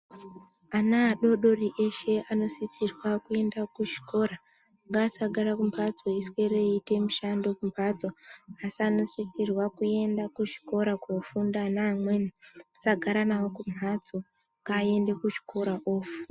Ana adodori eshe anosisirwa kuende kuzvikora ngaasagare kumhatso eiswere eita mishando kumhatso anosisirwa kuenda kuzvikora kunofunda neamweni tisagara nawo kumhatso ngaaende kuzvikora anofunda .